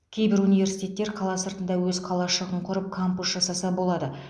кейбір университеттер қала сыртында өз қалашығын құрап кампус жасаса болады